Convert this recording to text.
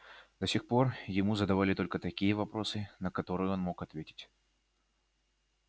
до сих пор ему задавали только такие вопросы на которые он мог ответить